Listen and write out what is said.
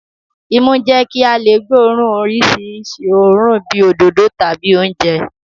Imú ń jẹ́ kí a lè gbóòórùn oríṣiríṣi òórùn bíi òdòdó tàbí oúnjẹ